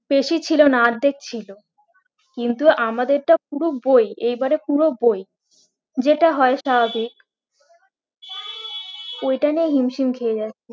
বেশি ছিল না আদ্ধেক ছিল কিন্তু আমাদেরটা পুরো বই এইবারে পুরো বই যেটা হয় স্বাভাবিক ওইটা নিয়ে হিমশিম খেয়ে যাচ্ছি